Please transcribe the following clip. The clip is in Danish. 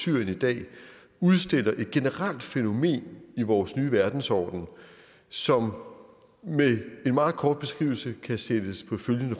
syrien i dag udstiller et generelt fænomen i vores nye verdensorden som med en meget kort beskrivelse kan sættes på følgende